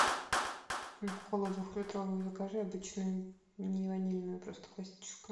колу двухлитровую закажи обычную не ванильную просто классическую